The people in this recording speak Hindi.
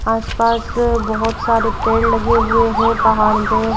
आसपास अअ बहुत सारे पेड़ लगे हुए हैं पहाड़ पे--